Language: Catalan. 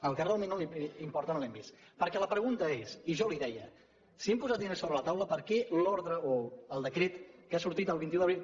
el que realment importa no ho hem vist perquè la pregunta és i jo li deia si hem posat diners sobre la taula per què l’ordre o el decret que ha sortit el vint un d’abril